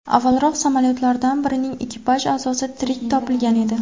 Avvalroq, samolyotlardan birining ekipaj a’zosi tirik topilgan edi.